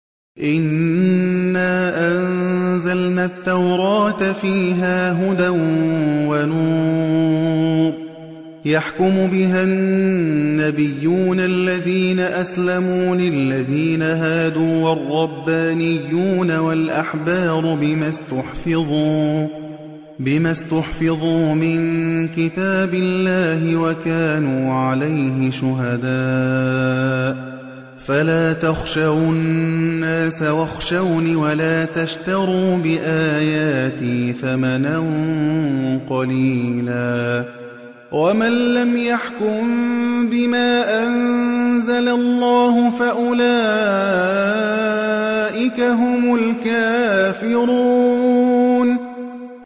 إِنَّا أَنزَلْنَا التَّوْرَاةَ فِيهَا هُدًى وَنُورٌ ۚ يَحْكُمُ بِهَا النَّبِيُّونَ الَّذِينَ أَسْلَمُوا لِلَّذِينَ هَادُوا وَالرَّبَّانِيُّونَ وَالْأَحْبَارُ بِمَا اسْتُحْفِظُوا مِن كِتَابِ اللَّهِ وَكَانُوا عَلَيْهِ شُهَدَاءَ ۚ فَلَا تَخْشَوُا النَّاسَ وَاخْشَوْنِ وَلَا تَشْتَرُوا بِآيَاتِي ثَمَنًا قَلِيلًا ۚ وَمَن لَّمْ يَحْكُم بِمَا أَنزَلَ اللَّهُ فَأُولَٰئِكَ هُمُ الْكَافِرُونَ